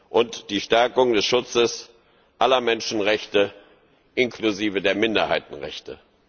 und die Stärkung des Schutzes aller Menschenrechte inklusive der Minderheitenrechte.